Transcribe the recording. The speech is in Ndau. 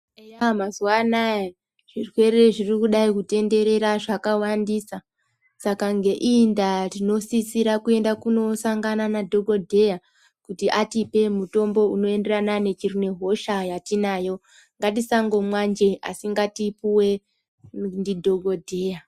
Mazuwa anaya zvirwere zvirikudai kutenderera zvakawandisa, saka ngeiyi ndaa tinosisira kosangana nadhokodheya kuti atipe mutombo unoenderana nehosha yatinayo. Ngatisangomwa njee asi ngatipuwe ndidhokodheya.